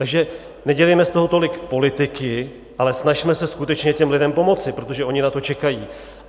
Takže nedělejme z toho tolik politiky, ale snažme se skutečně těm lidem pomoci, protože oni na to čekají.